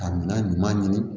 Ka minan ɲuman ɲini